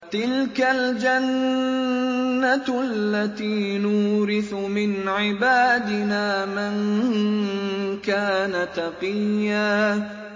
تِلْكَ الْجَنَّةُ الَّتِي نُورِثُ مِنْ عِبَادِنَا مَن كَانَ تَقِيًّا